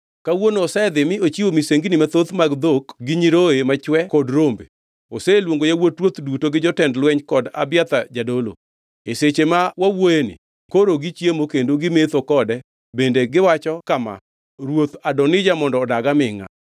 Kawuono osedhi mi ochiwo misengini mathoth mag dhok gi nyiroye machwe kod rombe. Oseluongo yawuot ruoth duto gi jotend lweny kod Abiathar jadolo. E seche ma wawuoyoeni koro gichiemo kendo gimetho kode bende giwacho kama, ‘Ruoth Adonija mondo odag amingʼa!’